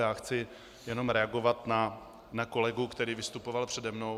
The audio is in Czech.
Já chci jenom reagovat na kolegu, který vystupoval přede mnou.